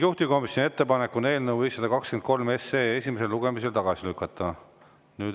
Juhtivkomisjoni ettepanek on eelnõu 523 esimesel lugemisel tagasi lükata.